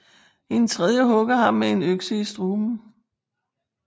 En tredje hugger ham med en økse i struben